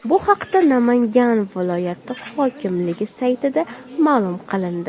Bu haqda Namangan viloyati hokimligi saytida ma’lum qilindi .